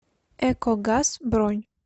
экогаз бронь